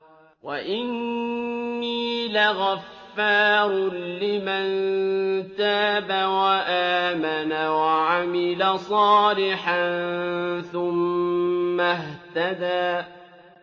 وَإِنِّي لَغَفَّارٌ لِّمَن تَابَ وَآمَنَ وَعَمِلَ صَالِحًا ثُمَّ اهْتَدَىٰ